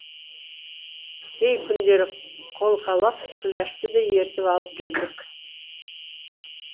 кей күндері қолқалап күләшті де ертіп алып жүрдік